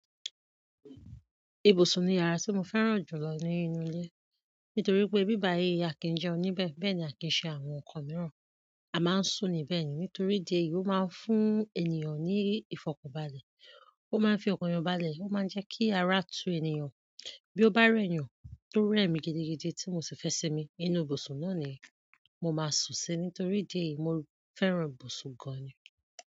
Ìbùsùn ni yàrá tí mo fẹ́ràn jù lọ ní inú ilé. Nítorí pé bíba èé a kì í jẹ oní bẹ́ẹ̀, bẹ́ẹ̀ ni a kì í ṣe àwọn nǹkan mìíràn. Mo máa ń sùn níbẹ̀ ni. Nítorí ìdí èyí, ó máa ń fún ènìyàn ní ìfọ̀kànbalẹ̀. Ó máa ń fi ọkàn yan balẹ̀, ó máa ń jẹ kí ara tu ènìyàn. Bí ó bá rẹ̀ ènìyàn tó rẹ mi gidigidi tí mo sì fẹ sín mi, inú ìbùsùn náà ni mo máa sùn sí, nítorí ìdí èyí, mo fẹ́ràn ìbùsùn gan ni.